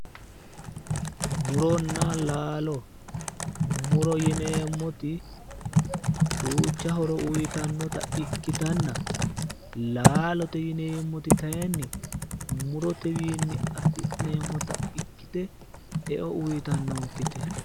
Muronna laalo. Muro yineemmoti duucha horo uyitannota ikkitanna laalote yineemmoti kayinni murotewiinni afi'neemmota ikkite eo uyitannonkete.